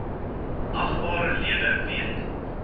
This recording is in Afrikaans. agbare lede weet